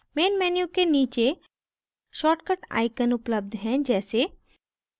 main menu के नीचे shortcut icons उपलब्ध हैं जैसे